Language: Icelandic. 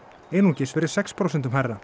einungis verið sex prósentum hærra